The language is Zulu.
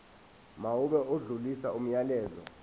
mawube odlulisa umyalezo